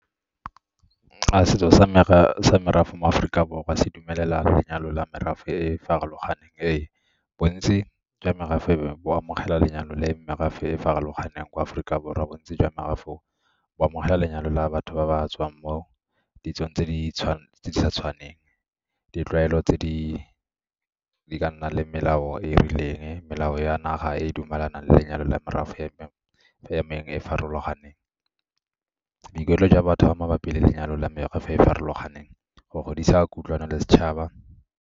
Setso sa merafe mo Aforika Borwa se dumelela lenyalo la merafe e e farologaneng, e bontsi jwa merafe e bo amogela lenyalo le merafe e e farologaneng kwa Aforika Borwa. Bontsi jwa bo amogela lenyalo la batho ba ba tswang mo ditsong tse di sa tshwaneng ditlwaelo tse di ka nnang le melao e e rileng melao ya naga e dumelanang lenyalo la merafe e mengwe e e farologaneng. Boikuelo jwa batho ba mabapi le lenyalo la mekgwa e farologaneng, go godisa kutlwano le setšhaba.